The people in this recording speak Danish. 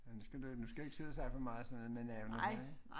Nu skal du nu skal vi ikke sidde og snakke for meget sådan men øh